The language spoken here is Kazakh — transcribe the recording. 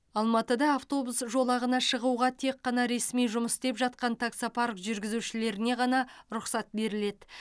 алматыда автобус жолағына шығуға тек қана ресми жұмыс істеп жатқан таксопарк жүргізушілеріне ғана рұқсат беріледі